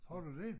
Har du dét?